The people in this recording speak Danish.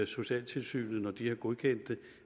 socialtilsynet har godkendt dem